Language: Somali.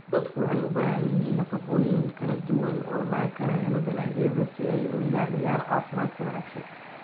Dadku waxay u baahan yihiin nafaqooyin kala duwan oo laga helo dalagyada si ay u ilaaliyaan caafimaadka wanaagsan.